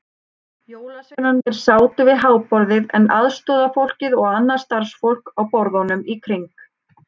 Jólasveinarnir sátu við háborðið en aðstorðafólkið og annað starfsfólk á borðunum í kring.